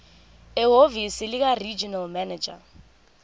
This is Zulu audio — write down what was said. ehhovisi likaregional manager